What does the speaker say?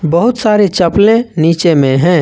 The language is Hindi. बहुत सारे चपले नीचे में है।